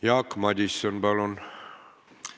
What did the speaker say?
Jaak Madison, palun!